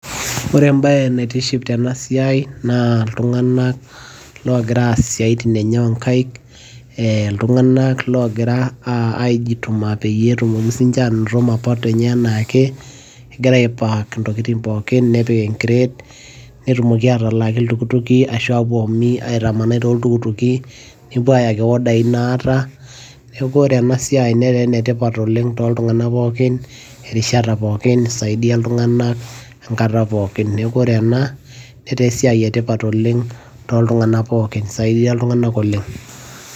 ore ebae naitishi tena siai naa iltungank loogira aas isiatin enye oonkaik, iltungank oogira aejituma peyie etumoki sii ninche aanoto mapato enye anaake, egira I park nepiki e crate. netumoki aatipik iltukutki, netumoki aitamanai tooltukutuki, nepuo aaya i order naata, neeku ore ena siai netaa ene tipat oleng tooltungank pookin, erishata, pookin isaidia iltunganak enkata pookin. neekuore ena etaa esiai etipat oleng tooltungank pookin isaidia iltungana oleng.